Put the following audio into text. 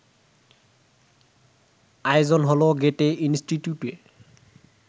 আয়োজন হলো গ্যেটে ইনস্টিটিউটে